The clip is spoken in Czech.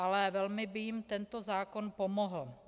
Ale velmi by jim tento zákon pomohl.